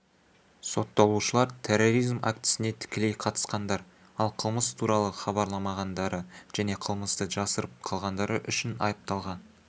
сотталушылар терроризм актісіне тікелей қатысқандар ал қылмыс туралы хабарламағандары және қылмысты жасырып қалғандары үшін айыпталған